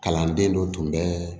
Kalanden dɔ tun bɛ